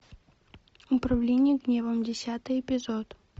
управление гневом десятый эпизод